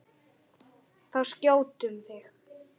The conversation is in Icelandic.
Þá skjótum við.